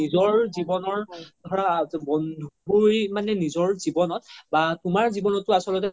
নিজৰ জিৱ্নৰ ধৰা বন্ধুই নিজৰ জিৱ্নত বা তুমাৰ জিৱ্নতও আচলতে